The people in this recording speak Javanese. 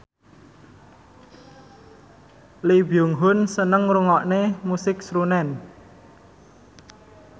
Lee Byung Hun seneng ngrungokne musik srunen